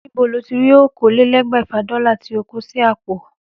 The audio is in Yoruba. Níbo lo tí rí okòólélégbèfà Dólà tó o kó sí àpò?